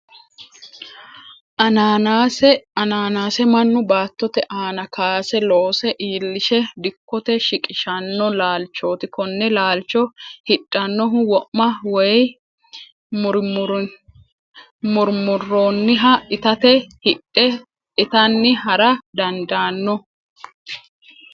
Ananase ananase manu baattotte aana kaase loose iillishe dikote shiqishano laalichoti kone laalicho hidhanohu wo'ma woyi murimuronihha ittatte hidhe ittanni hara dandaano